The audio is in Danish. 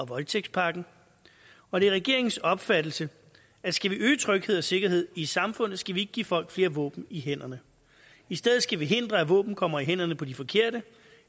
voldtægtspakken og det er regeringens opfattelse at skal vi øge tryghed og sikkerhed i samfundet skal vi ikke give folk flere våben i hænderne i stedet skal vi hindre at våben kommer i hænderne på de forkerte